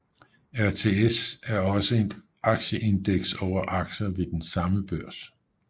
RTS er også et aktieindeks over aktier ved den samme børs